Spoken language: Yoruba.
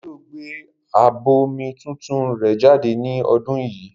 Davido gbé ábọ́ọ̀mù tuntun rẹ jáde ní ọdún yìí.